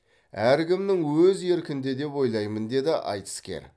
әркімнің өз еркінде деп ойлаймын деді айтыскер